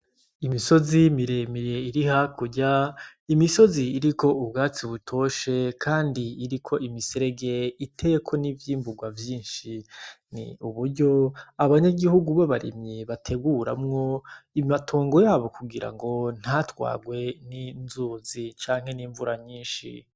Imisozi miremire iri hakurya, imisozi iriko ubwatsi butoshe kandi iriko imiserege iteyeko n'ivyimburwa vyinshi, ni uburyo abanyagihugu b'abarimyi bateguramwo amatongo yabo kugira ngo ntatwarwe n'inzuzi canke n'imvura nyinshi.